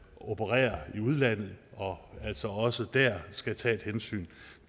opererer i udlandet og altså også der skal tage et hensyn